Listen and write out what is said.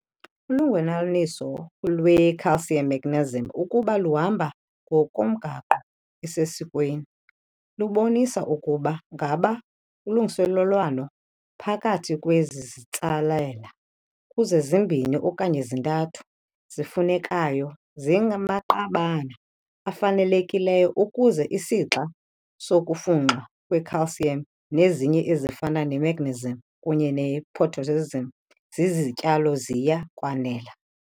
Ulungelelwaniso lwe-calcium magnesium, ukuba luhamba ngokomgaqo osesikweni, lubonisa ukuba ngaba ulungiselelwano phakathi kwezizitsalela kuze zimbini okanye zithathu zifunekayo zingamaqabana afanelekileyo ukuze isixa sokufunxwa kwe-calcium nezinye ezifana ne-magnesium kunye ne-potassium zizityalo ziya kwanela.